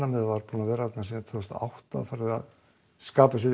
með var búið að vera þarna frá tvö þúsund og átta var farið að skapa sér